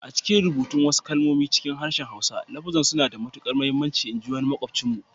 A'cikin rubutun wasu kalmomi cikin harshen Hausa, lafuzzan suna da matukar muhimmanci in ji makwabcinmu.